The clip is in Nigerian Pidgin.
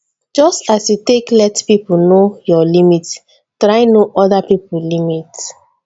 just as you take let pipo know your limit try know oda pipo limit